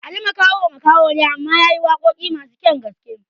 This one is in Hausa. Ali Makaho makaho ne amma yayi waƙoƙi masu kyan gaske